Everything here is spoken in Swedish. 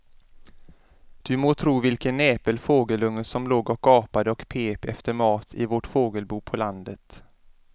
Du må tro vilken näpen fågelunge som låg och gapade och pep efter mat i vårt fågelbo på landet.